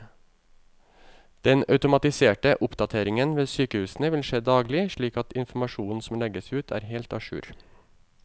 Den automatiserte oppdateringen ved sykehusene vil skje daglig, slik at informasjonen som legges ut er helt a jour.